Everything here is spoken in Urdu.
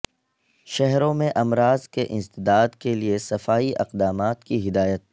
شہروں میں امراض کے انسداد کیلئے صفائی اقدامات کی ہدایت